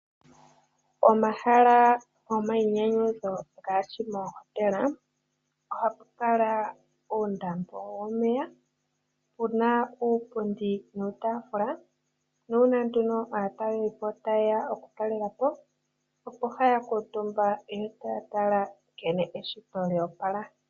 Omahala gomayinyanyudho ngaashi moohotela ohupu kala uundambo womeya puna uupundi nuutafula nuuna nduno aatalelipo ta yeya okutalela po opo haya kuutumba yotaya tala nkene eshito lyo opala.